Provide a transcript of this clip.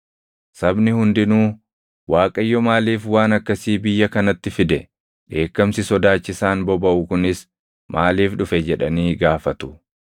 Sabni hundinuu, “ Waaqayyo maaliif waan akkasii biyya kanatti fide? Dheekkamsi sodaachisaan bobaʼu kunis maaliif dhufe?” jedhanii gaafatu.